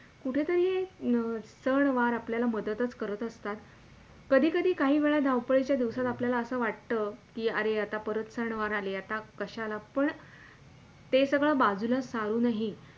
कुठेतरी हे सणवार आपल्याला मददच करत असतात. कधी - कधी काही वेळी धावपळीच्या दिवसात आपल्याला असे वाटतं की अरे आता परत सणवार आली कशाला पण ते सगळं बाजूला सारूनही.